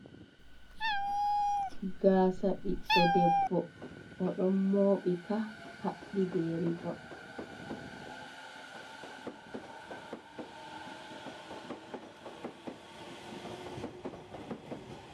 Gasa biɗdo ɗebbo. Oɗon moobika habbi be rivon.